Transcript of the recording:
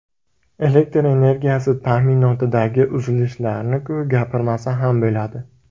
Elektr energiyasi ta’minotidagi uzilishlarni-ku, gapirmasa ham bo‘ladi.